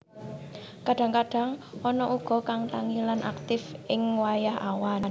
Kadang kadang ana uga kang tangi lan aktif ing wayah awan